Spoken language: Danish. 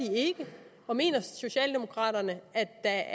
og mener socialdemokraterne at